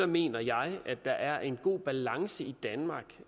mener jeg der er en god balance i danmark